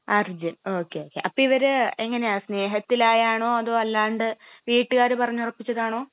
Arjun okay okay. അപ്പൊ ഇവര് എങ്ങനാ സ്നേഹത്തിലായാണോ അതോ അല്ലാണ്ട് വീട്ടുകാര് പറഞ്ഞുറപ്പിച്ചതാണോ?